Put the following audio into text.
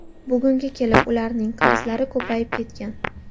Bugunga kelib ularning qarzlari ko‘payib ketgan.